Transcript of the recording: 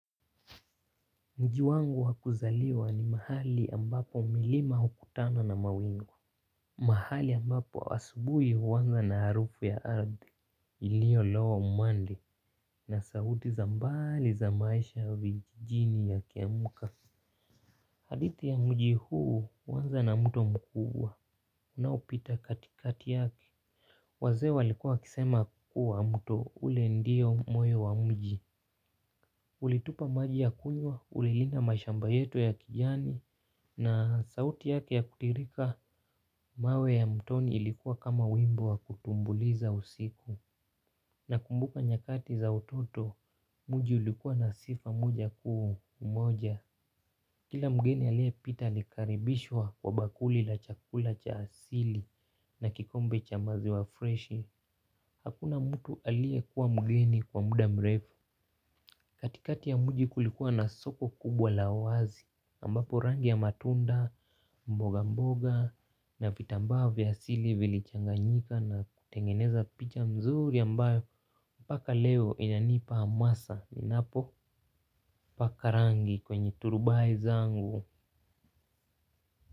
Mji wangu wakuzaliwa ni mahali ambapo milima ukutana na mawingu. Mahali ambapo asubuhi huanza na harufu ya ardhi ilio lowa umande na sauti za mbali za maisha vijijini yakiamka. Hadithi ya mji huu huanza na mtu mkubwa. Unaupita katikati yake. Wazee walikuwa wakisema kuwa mto ule ndio moyo wa mji. Ulitupa maji ya kunywa ulilinda mashamba yetu ya kijani na sauti yake ya kutiririka mawe ya mtoni ilikuwa kama wimbo wa kutumbuiza usiku na kumbuka nyakati za utoto mji ulikuwa na sifa moja kuu umoja. Kila mgeni aliye pita alikaribishwa kwa bakuli la chakula cha asili na kikombe cha maziwa freshi. Hakuna mtu aliye kuwa mgeni kwa muda mrefu. Katikati ya mji kulikuwa na soko kubwa la wazi ambapo rangi ya matunda mboga mboga na vitambaa vya asili vilichanganyika na kutengeneza picha mzuri ambayo mpaka leo inanipa amasa ninapo paka rangi kwenye turubai zangu.